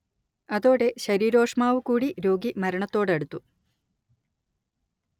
അതോടെ ശരീരോഷ്മാവു കൂടി രോഗി മരണത്തോടടുത്തു